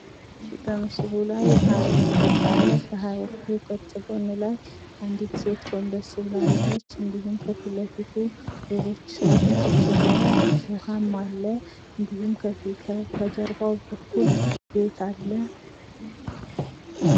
እሽ በምስሉ ላይ የሐውልት ቅርፅ አለ። ከሐውልቱ ቅርፅ ጎን ላይ አንዲት ሴት ጎንበስ ብላ አለች። እንዲሁም ከፊት ለፊቱ ሌሎች ሰዎች ቁጭ ብለዋል። ውሀም አለ እንዲሁም ከጀርባው በኩል ቤት አለ።